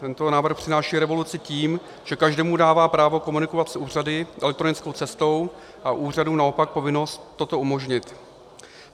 Tento návrh přináší revoluci tím, že každému dává právo komunikovat s úřady elektronickou cestou a úřadům naopak povinnost toto umožnit.